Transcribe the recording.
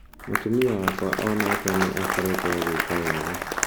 Mũtumia wakwa o nake nĩ akoretwo agĩka wega.